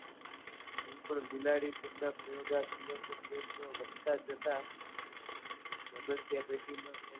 પણ બિલાડી પૂરતા પ્ર્યોગાત્મક પ્ર્યત્નો વધતાં જતાં સ્મધ્યા પેઢીમા